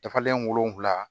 Dafalen wolonvila